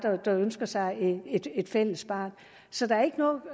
der ønsker sig et fælles barn så der er ikke noget